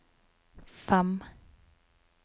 fem